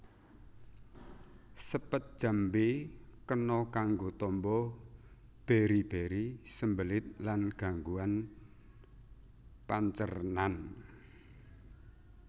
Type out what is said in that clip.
Sepet jambé kena kanggo tamba beri beri sembelit lan gangguan pancernan